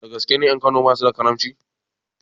Dagaske ne ƴan kano basu da karamci?